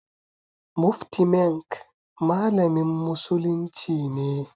Mufti Menk malamin musulunci ne.